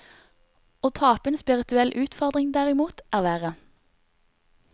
Å tape en spirituell utfordring, derimot, er verre.